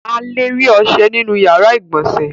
A le rí ọṣẹ nínú ìyàrá-ìgbọ̀nsẹ̀.